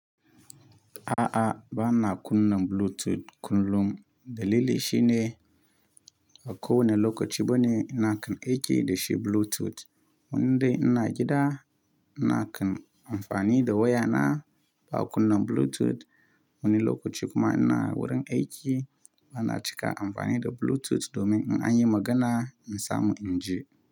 A'a ba'a na kunna Bluetooth kullum. Dalili shine ba kowane lokaci bane ina kan aiki da shi Bluetooth. Wani dai ina gida ina kan amfani da waya na ba kunna Bluetooth. Wani lokaci kuma ina wurin aiki bana cika amfani da Bluetooth domin in an yi magana in samu inji.